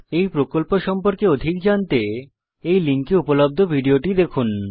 এই প্রকল্প সম্পর্কে অধিক জানতে এই লিঙ্কে উপলব্ধ ভিডিওটি দেখুন